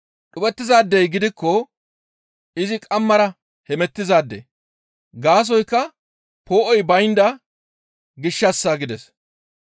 Dhuphettizaadey gidikko izi qamara hemettizaade. Gaasoykka poo7oy baynda gishshassa» gides.